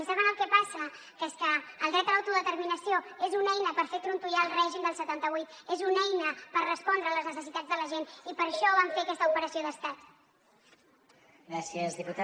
i saben el que passa que és que el dret a l’autodeterminació és una eina per fer trontollar el règim del setanta vuit és una eina per respondre a les necessitats de la gent i per això van fer aquesta operació d’estat